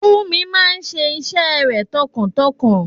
Funmi máa ṣe iṣẹ́ rẹ̀ tọkàntọkàn.